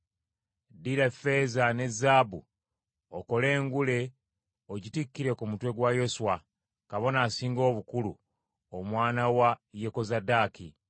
Ddira effeeza ne zaabu okole engule ogitikkire ku mutwe gwa Yoswa, kabona asinga obukulu, omwana wa Yekozadaaki.